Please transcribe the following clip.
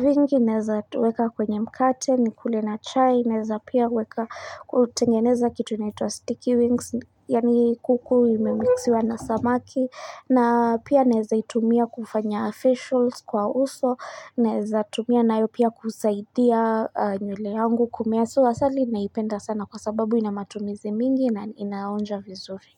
vingi, naweza weka kwenye mkate, nikule na chai, naweza pia weka kutengeneza kitu naitwa sticky wings Yani kuku imemixiwa na samaki na pia naweza itumia kufanya facials kwa uso, naweza tumia nayo pia kusaidia nywele yangu kumea So asali naipenda sana kwa sababu inamatumizi mingi na inaonja vizuri.